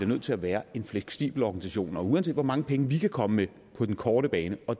nødt til at være en fleksibel organisation og uanset hvor mange penge vi kan komme med på den korte bane og